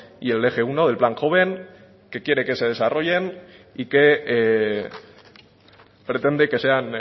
y el eje uno del plan joven que quiere que se desarrollen y que pretende que sean